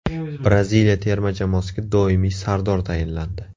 Braziliya terma jamoasiga doimiy sardor tayinlandi.